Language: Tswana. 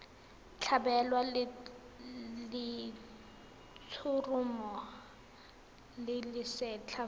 tlhabelwa letshoroma le lesetlha fa